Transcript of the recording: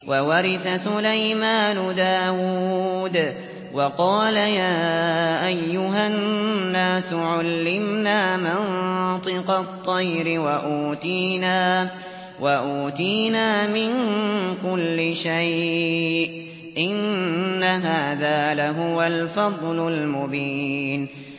وَوَرِثَ سُلَيْمَانُ دَاوُودَ ۖ وَقَالَ يَا أَيُّهَا النَّاسُ عُلِّمْنَا مَنطِقَ الطَّيْرِ وَأُوتِينَا مِن كُلِّ شَيْءٍ ۖ إِنَّ هَٰذَا لَهُوَ الْفَضْلُ الْمُبِينُ